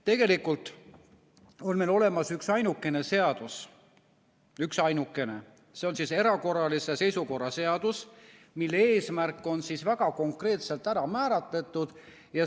Tegelikult on meil olemas üksainukene seadus – üksainukene –, see on erakorralise seisukorra seadus, mille eesmärk on väga konkreetselt ära määratletud.